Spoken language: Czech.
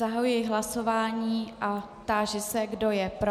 Zahajuji hlasování a táži se, kdo je pro.